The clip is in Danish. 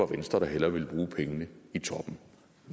venstre der hellere vil bruge pengene i toppen